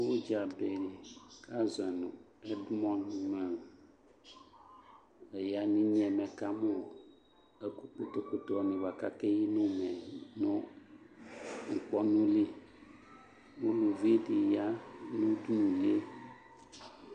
Udza de ka zɔe no ɛdmɔnd man Ɛya no inye mɛ ɛka mo ɛku kpotokpoto ne boa kake yi nɛmɛ no nkpɔnuli Uluvi de ya no udunulieq